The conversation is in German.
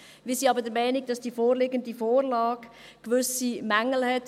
Wir sind aber der Meinung, dass die vorliegende Vorlage gewisse Mängel hat.